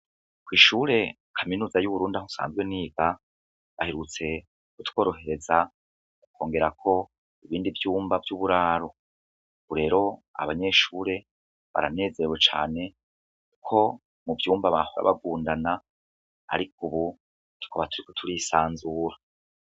Ko'ishure kaminuza y'uwurunda aho usanzwe n'iga bahirutse gutworohereza gukongerako ibindi vyumba vy'uburaru urero abanyeshure baranezerwe cane uko mu vyumba bahora bagundana, ariko, ubu tkobaturiwe turisanzura.